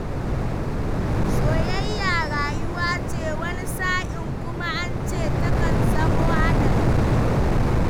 Soyayya rayuwa ce, wani sa'in kuma an ce takan zamo haɗari